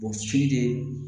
O si de